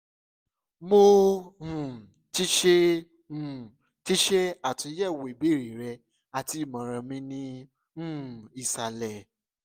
mo um ti ṣe um ti ṣe atunyẹwo ibeere rẹ ati imọran mi ni um isalẹ